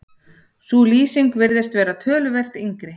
sú lýsing virðist vera töluvert yngri